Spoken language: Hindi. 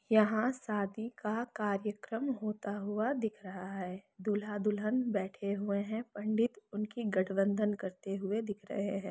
यहाँ शादी का कार्यक्रम होता हुआ दिख रहा है दूल्हा-दुल्हन बैठे हुए है पंडित उनकी गठबंधन करते हुए दिख रहे है।